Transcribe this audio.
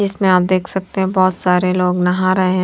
इसमें आप देख सकते हैं बहुत सारे लोग नहा रहे है।